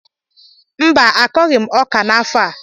Mba, akọghị m ọka n’afọ a